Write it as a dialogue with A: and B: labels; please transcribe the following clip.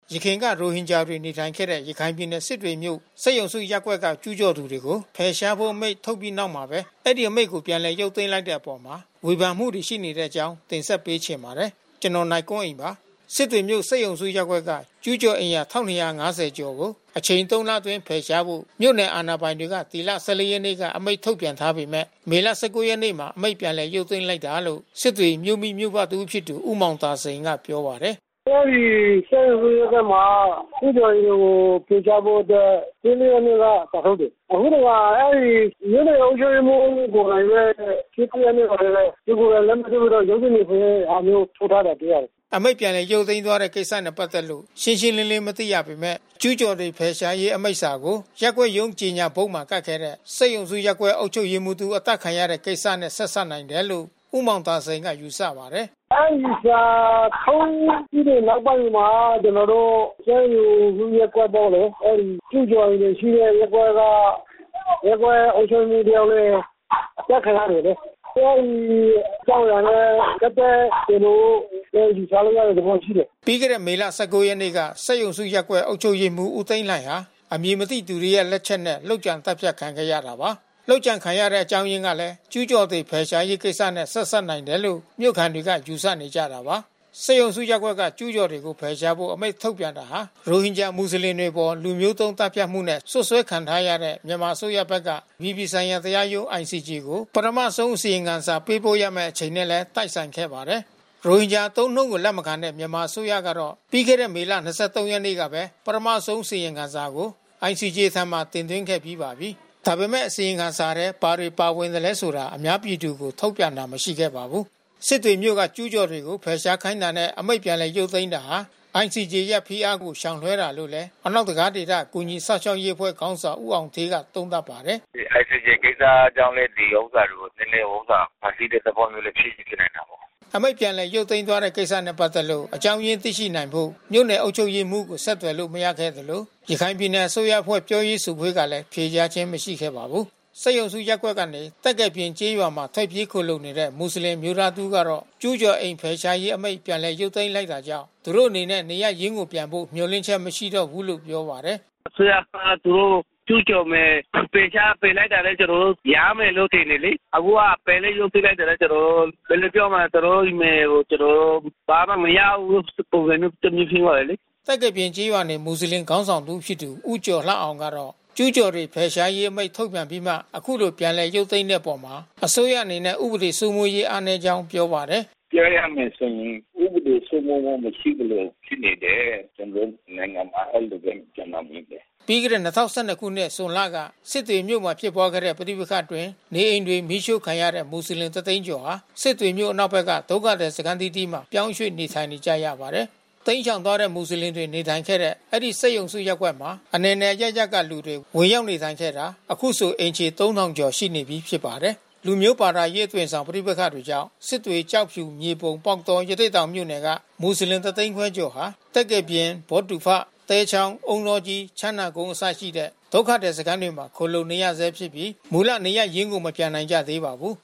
A: ယခင်က ရိုဟင်ဂျာတွေ နေထိုင်ခဲ့တဲ့ ရခိုင်ပြည်နယ် စစ်တွေမြို့ စက်ရုံစုရပ်ကွက်က ကျူးကျော်တွေကို ဖယ်ရှားဖို့ အမိန့် ထုတ်ပြီးနောက်မှပဲ အဲဒီအမိန့်ကို ပြန်ရုပ်သိမ်းလိုက်တဲ့အပေါ်ဝေဖန်မှုတွေ ရှိနေတဲ့အကြောင်းကို ဗွီအိုအေမြန်မာပိုင်း သတင်းထောက် ကိုနိုင်ကွန်းအိန်က တင်ဆက်ပေးချင်ပါတယ်။ စစ်တွေမြို့ စက်ရုံစုရပ်ကွက်က ကျူးကျော်အိမ်ယာ ၁,၂၅၀ ကျော်ကို အချိန်သုံးလအတွင်း ဖယ်ရှားဖို့ မြို့နယ်အာဏာ ပိုင်တွေက ဒီလ ၁၄ ရက်နေ့က အမိန့်ထုတ်ပြန်ထားပေမဲ့ မေလ ၁၉ ရက်နေ့မှာ အမိန့်ပြန်ရုပ်သိမ်းလိုက်တယ်လို့ စစ်တွေမြို့မိမြို့ဖတဦးဖြစ်သူ ဦးမောင်သာစိန်ကပြောပါတယ်။
B: “အဲဒီစက်ရုံစုရပ်ကွက်မှာ ကျူးကျော်တွေကို ဖယ်ရှားဖို့အတွက် ၁၄ ရက်နေ့က စာထုတ်တယ်။ အခုတခါ အဲဒီ မြို့နယ် အုပ်ချုပ်ရေးမှူးကိုယ်တိုင်ပဲ ၁၉ ရက်နေ့မှာပဲ သူကိုယ်တိုင်လက်မှတ်ထိုးပြီးတော့ ရုံးထုတ် တယ်ဆိုတဲ့ဟာမျိုး ထုတ် ထားတာတွေ့ရတယ်။
A: ” အမိန့် ပြန်လည် ရုပ်သိမ်းသွားတဲ့ကိစ္စနဲ့ ပတ်သက်လို့ ရှင်းရှင်းလင်းလင်းမသိရပေမဲ့ ကျူးကျော်တွေ ဖယ်ရှားရေး အမိန့်စာကို ရပ်ကွက်ရုံးကြော်ငြာဘုတ်မှာ ကပ်ခဲ့တဲ့၊ စက်ရုံစုရပ်ကွက် အုပ်ချုပ်ရေးမှူးတဦး အသတ်ခံရတဲ့ ကိစ္စနဲ့ ဆက်စပ်နိုင်တယ်လို့ ဦးမောင်သာစိန်က ယူဆပါတယ်။
B: “အဲဒီစာထုတ်ပြီးတဲ့နောက်ပိုင်းမှာ ကျနော်တို့ စက်ရုံစုရပ်ကွက်ကလေ အဲဒီကျူးကျော်အိမ်တွေရှိတဲ့ ရပ်ကွက်က ရပ်ကွက်အုပ်ချုပ်ရေးမှူးတယောက်လည်း အသတ်ခံရတယ်လေ။ အဲဒီအကြောင်းအရာနဲ့ ပတ်သက်တယ်လို့ ယူဆရတဲ့ သဘောရှိတယ်
A: ။” ပြီးခဲ့တဲ့မေလ ၁၉ ရက်နေ့က စက်ရုံစုရပ်ကွက် အုပ်ချုပ်ရေးမှူးဦးသိန်းလှှိုင်ဟာ အမည်မသိသူတွေရဲ့ လက်ချက်နဲ့ လုပ်ကြံသတ်ဖြတ်ခံခဲ့ရတာပါ။ လုပ်ကြံခံရတဲ့ အကြောင်းအရင်းကလည်း ကျူးကျော်တွေ ဖယ်ရှားရေးကိစ္စနဲ့ ဆက်စပ်နိုင်တယ်လို့ မြို့ခံတွေကယူဆနေကြတာပါ။ စက်ရုံစုရပ်ကွက်က ကျူးကျော်တွေကို ဖယ်ရှားဖို့ အမိန့်ထုတ်ပြန်တာဟာ ရိုဟင်ဂျာမူဆလင်တွေအပေါ် လူမျိုးတုံး သတ်ဖြတ်မှုနဲ့ စွပ်စွဲခံထားရတဲ့ မြန်မာအစိုးရဘက်က အပြည်ပြည်ဆိုင်ရာတရားရုံး ICJ ကို မကြာခင် ပထမဆုံး အစီရင်ခံစာ ပေးပို့ရမယ့်အချိန်နဲ့လည်း တိုက်ဆိုင်ခဲ့ပါတယ်။ ရိုဟင်ဂျာအသုံးအနှုန်းကို လက်မခံတဲ့ မြန်မာအစိုးရကတော့ ပြီးခဲ့တဲ့ မေလ ၂၃ ရက်နေ့ကပဲ ပထမဆုံးအစီရင်ခံစာကို ICJ ထံ တင်သွင်းခဲ့ပြီးပါပြီ။ ဒါပေမဲ့ အစီရင်ခံထဲ ဘာတွေပါဝင်သလည်းဆိုတာ အများပြည်သူကို ထုတ်ပြန်တာမရှိပါဘူး။ စစ်တွေမြို့က ကျူးကျော်တွေကို ဖယ်ရှားခိုင်းတာနဲ့ အမိန့်ပြန်ရုပ်သိမ်းတာဟာ ICJ ရဲ့ဖိအားကို ရှောင်လွှဲတာလို့လည်း အနောက်တံခါးဒေသ ကူညီစောင့်ရှောက်ရေးအဖွဲ့ ခေါင်းဆောင်ဦးအောင်ဌေးက သုံးသပ်ပါတယ်
B: ။ “ဒီ ICJ ကိစ္စကြောင့်လည်း ဒီဥစ္စာတွေကို နည်းနည်းဖန်တီးတဲ့သဘောလည်း ဖြစ်ချင်ဖြစ်နိုင်တာ
A: ပေါ့။” အမိန့် ပြန်လည်ရုပ်သိမ်းသွားတဲ့ကိစ္စနဲ့ ပတ်သက်လို့ အကြောင်းရင်းသိနိုင်ဖို့ မြို့နယ်အုပ်ချုပ်ရေးမှူးကို ဆက်သွယ်လို့ မရခဲ့သလို ရခိုင်ပြည်နယ်အစိုးရအဖွဲ့ ပြောရေးဆိုခွင့်ကလည်း ဖြေကြားခြင်း မရှိခဲ့ပါဘူး။ စက်ရုံစုရပ်ကွက်ကနေ သက္ကယ်ပြင်ကျေးရွာမှာ ထွက်ပြေးခိုလှုံနေရတဲ့ မူဆလင်အမျိုးသားတဦးကတော့ ကျူးကျော် အိမ်ဖယ်ရှားရေးအမိန့် ပြန်ရုပ်သိမ်းလိုက်တာကြောင့် သူတို့အနေနဲ့ နေရပ်ရင်းကိုပြန်ဖို့ မျှော်လင့်ချက်မရှိတော့ဘူးလို့ပြောပါတယ်။
B: “အစိုးရက သူတို့ကျူးကျော်မယ်၊ ဖယ်ရှားဖယ်လိုက်တာနဲ့ ကျနော်တို့ ပြန်ရမယ်လို့ထင်တယ်လေ။ အခုက ဖယ်မိန့် ရုပ်သိမ်းလိုက်တာနဲ့ ကျနော်တို့နယ်ကို ကျနော်တို့ ဘာမှမရဘူးပုံစံမျိုး တမျိုးဖြစ်သွားတယ်လေ။” သက္ကယ်
A: ပြင်ကျေးရွာနေ မူဆလင်ခေါင်းဆောင်တစ်ဦးဖြစ်သူ ဦးကျော်လှအောင်ကတော့ ကျူးကျော်တွေ ဖယ်ရှားရေး အမိန့်ထုတ်ပြန်ပြီး အခုလိုပြန်ရုပ်သိမ်းတဲ့အပေါ် အစိုးရအနေနဲ့ ဥပဒေစိုးမိုးရေးအားနည်းကြောင်းပြောပါတယ်။
B: “ပြောရမယ်ဆိုရင် ဥပဒေစိုးမိုးမှု မရှိသလို ဖြစ်နေတယ်။ ကျနော်တို့နိုင်ငံမှာ အဲဒီလိုပဲကျနော်မြင်တယ်။
A: ” ပြီးခဲ့တဲ့၂၀၁၂ ခုနှစ် ဇွန်လက စစ်တွေမြို့မှာဖြစ်ပွားခဲ့တဲ့ ပဋိပက္ခအတွင်း နေအိမ်တွေ မီးရှို့ခံခဲ့ရတဲ့ မူစလင် ၁၀၀,၀၀၀ ကျော်ဟာ စစ်တွေမြို့ အနောက်ဘက်က ဒုက္ခသည်စခန်းအသီးသီးမှာ ပြောင်းရွှေ့နေထိုင်နေကြရပါတယ်။ တိမ်းရှောင်သွားတဲ့ မွတ်စလင်တွေ နေထိုင်ခဲ့တဲ့ အဲဒီစက်ရုံစုရပ်ကွက်မှာ အနယ်နယ်အရပ်ရပ်က လူတွေ ဝင်ရောက်နေထိုင်ခဲ့တာ အခုဆိုအိမ်ခြေ ၃,၀၀၀ ကျော်နေပြီးဖြစ်ပါတယ်။ လူမျိုး ဘာသာရေးအသွင်ဆောင် ပဋိပက္ခတွေကြောင့် စစ်တွေ ကျောက်ဖြူ မြေပုံ ပေါက်တော ရသေ့တောင်မြို့နယ်က မူဆလင် ၁၅၀,၀၀၀ ကျော်ဟာ သက္ကေပြင် ဘောဒူဖ သဲချောင်း အုန်းတောကြီး ချမ်းသာကုန်းအစရှိတဲ့ ဒုက္ခသည်စခန်းတွေမှာ ခိုလှုံနေရဆဲဖြစ်ပြီး မူလနေရပ်ရင်းကို မပြန်နိုင်ကြသေးပါဘူး